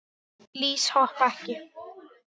Lýs hoppa ekki.